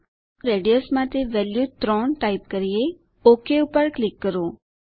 ચાલો રેડિયસ માટે value 3 type કરીએ ઓક ઉપર ક્લિક કરો